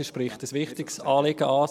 Sie spricht ein wichtiges Anliegen an.